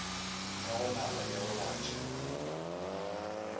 ya go naba e robatša